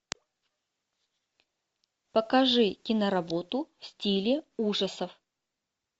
покажи киноработу в стиле ужасов